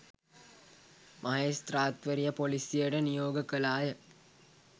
මහෙස්ත්‍රාත්වරිය ‍පොලිසියට නියෝග කළාය.